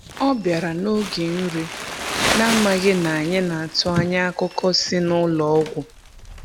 Ọ bịara n’oge nri, na-amaghị na anyị na-atụ anya akụkọ si n’ụlọ ọgwụ.